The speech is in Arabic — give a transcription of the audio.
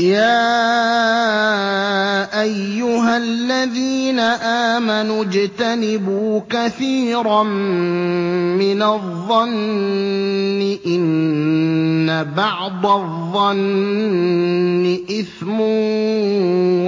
يَا أَيُّهَا الَّذِينَ آمَنُوا اجْتَنِبُوا كَثِيرًا مِّنَ الظَّنِّ إِنَّ بَعْضَ الظَّنِّ إِثْمٌ ۖ